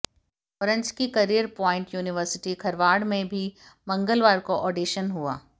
भोरंज की career point university Kharwad में भी मंगलवार को ऑडिशन हुआ